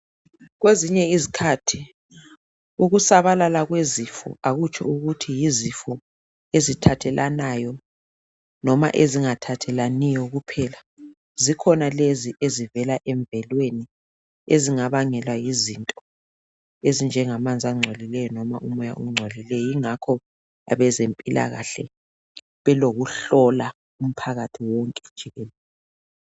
Kwezinye izikhathi ukusabalala kwezifo, akutsho ukuthi yizifo ezithathelanayo, noma ezingathathelaniyo kuphela. Zikhona lezi ezivela emvelweni. Ezingabangelwa yizinto, ezinjengamanzi angcolileyo, noma umoya ongcolileyo. Yikho nje abezempilakahle belakho, ukuhlola umphakathi wonke jikelele.